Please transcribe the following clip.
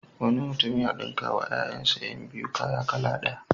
Wani mutum ya ɗinkawa ƴaƴansa ƴan biyu kaya kala ɗaya.